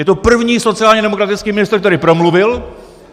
Je to první sociálně demokratický ministr, který promluvil.